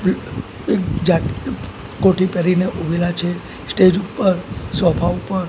એક જા કોટી પેરીને ઊભેલા છે સ્ટેજ ઉપર સોફા ઉપર--